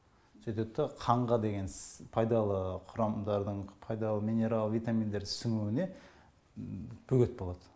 сөйтет та қанға деген пайдалы құрамдардың пайдалы минерал витаминдерді сіңіуіне бөгет болат